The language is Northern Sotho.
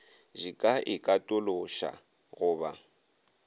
di ka ikatološa go ba